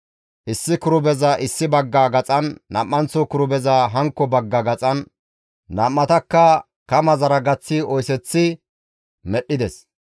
Issi kirubeza issi bagga gaxan, nam7anththo kirubeza hankko bagga gaxan, nam7atakka kamazara gaththi oyseththi medhdhides.